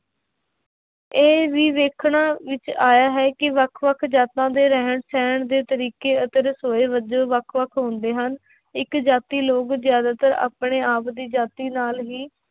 ਇਹ ਵੀ ਵੇਖਣ ਵਿੱਚ ਆਇਆ ਹੈ ਕਿ ਵੱਖ ਵੱਖ ਜਾਤਾਂ ਦੇ ਰਹਿਣ ਦੇ ਤਰੀਕੇ ਅਤੇ ਵੱਖ ਵੱਖ ਹੁੰਦੇ ਹਨ, ਇੱਕ ਜਾਤੀ ਲੋਕ ਜ਼ਿਆਦਾਤਰ ਆਪਣੇ ਆਪ ਦੀ ਜਾਤੀ ਨਾਲ ਹੀ